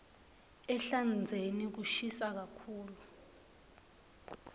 ehlandzeni kushisa kakhulu